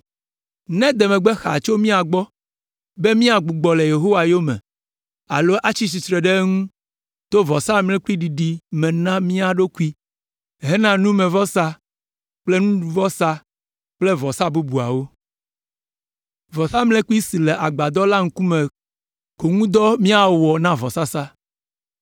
“Nede megbe xaa tso mía gbɔ be, míagbugbɔ le Yehowa yome alo atsi tsitre ɖe eŋu to vɔsamlekpuiɖiɖi me na mía ɖokui hena numevɔsa kple nuɖuvɔsa kple vɔsa bubuawo. Vɔsamlekpui si le Agbadɔ la ŋkume ko ŋu dɔ míawɔ na vɔsasa.”